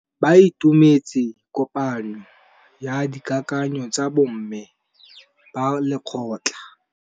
Ba itumeletse kôpanyo ya dikakanyô tsa bo mme ba lekgotla.